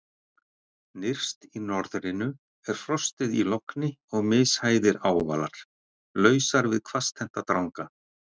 Nyrst í norðrinu er frostið í logni og mishæðir ávalar, lausar við hvasstennta dranga.